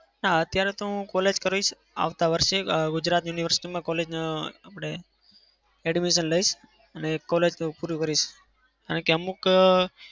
હા અત્યારે તો હું college કરીશ આવતા વરસે ગુજરાત university માં college માં admission લઈશ અને college પૂરી કરીશ. કારણ કે અમુક